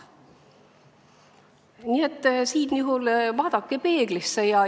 Nii et siinjuhul vaadake peeglisse.